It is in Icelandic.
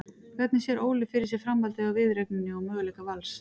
Hvernig sér Óli fyrir sér framhaldið á viðureigninni og möguleika Vals?